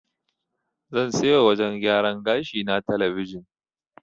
Zan sai wa wajen gyaran gashi na talabijin.